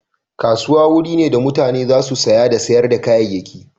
Kasuwa wuri ne da mutane za su saya da sayar da kayayyaki.